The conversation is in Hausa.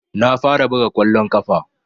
Na fara buga kwallon kafa